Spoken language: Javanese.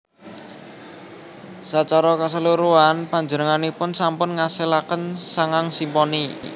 Sacara kaseluruhan panjenenganipun sampun ngasilaken sangang simponi